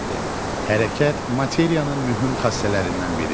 Hərəkət materiyanın mühüm xassələrindən biridir.